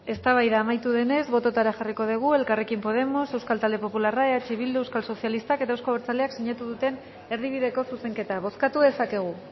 eztabaida amaitu denez botoetara jarriko dugu elkarrekin podemos euskal talde popularra eh bildu euskal sozialistak eta euzko abertzaleak sinatu duten erdibideko zuzenketa bozkatu dezakegu